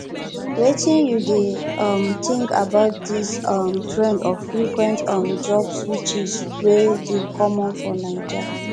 wetin you dey um think about dis um trend of frequent um job switches wey dey common for naija